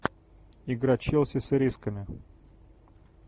игра челси с ирисками